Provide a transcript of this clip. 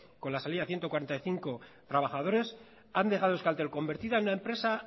con la salida de ciento cuarenta y cinco trabajadores han dejado a euskaltel convertida en una empresa